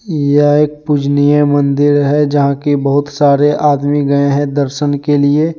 यह एक पूजनीय मंदिर है जहां कि बहुत सारे आदमी गए हैं दर्सन के लिए।